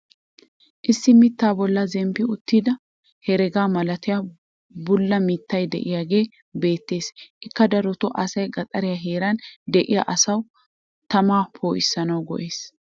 issi mitaa boli zemppi uttida heregaa malatiya bula mitay diyaagee beetees. ikka darotoo asay gaxariya heeran diya asawu tamaa poo'issanaassi go'ees.